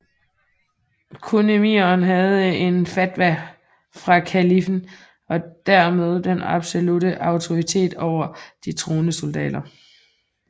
Kun emiren havde en fatwa fra kaliffen og dermed den absolutte autoritet over de troende soldater